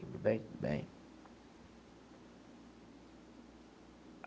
Tudo bem. Tudo bem.